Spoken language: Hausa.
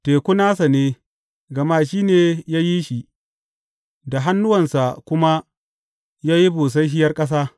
Teku nasa ne, gama shi ne ya yi shi, da hannuwansa kuma ya yi busasshiyar ƙasa.